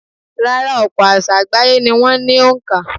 Rárá, ọ̀pọ̀ àsá̀ àgbáyé ni wọ́n ní òǹkà.